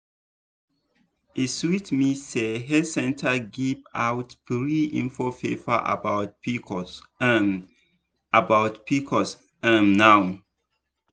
dem pcos um workshop um na correct eye opener for small girls um and women.